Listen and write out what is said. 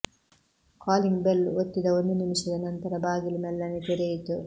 calling bell ಒತ್ತಿದ ಒಂದು ನಿಮಿಷದ ನಂತರ ಬಾಗಿಲು ಮೆಲ್ಲನೆ ತೆರೆಯಿತು